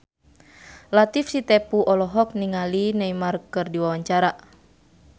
Latief Sitepu olohok ningali Neymar keur diwawancara